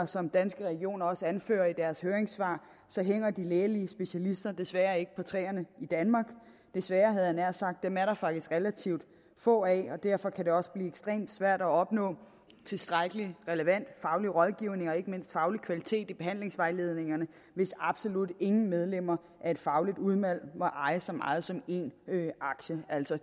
som danske regioner også anfører i deres høringssvar så hænger de lægelige specialister desværre ikke på træerne i danmark dem er der faktisk desværre relativt få af og derfor kan det også blive ekstremt svært at opnå tilstrækkelig relevant faglig rådgivning og ikke mindst faglig kvalitet i behandlingsvejledningerne hvis absolut ingen medlemmer af et fagligt udvalg må eje så meget som én aktie altså